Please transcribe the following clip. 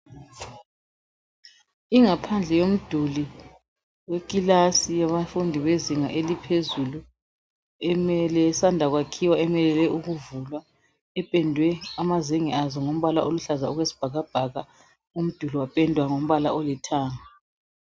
Ingaphandle yomduli wekilasi yabafundi bezinga eliphezulu elisanda kwakhiwa elimelele ukuvulwa , liphendwe amazenge azo ngombala oluhlaza okwesibhakabhaka, umduli wapendwa ngombala olithanga.